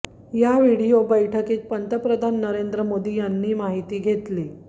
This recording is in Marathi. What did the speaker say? या व्हिडीओ बैठकीत पंतप्रधान नरेंद्र मोदी यांनी माहिती घेतली